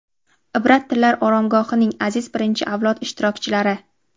"Ibrat tillar oromgohi"ning aziz birinchi avlod ishtirokchilari!.